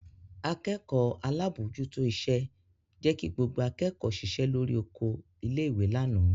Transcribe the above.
Akẹ́kọ̀ọ́ alábòójútó iṣẹ́ jẹ́ kí gbogbo akẹ́kọ̀ọ́ ṣiṣẹ́ lórí oko ilé-ìwé lánàá.